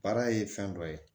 Baara ye fɛn dɔ ye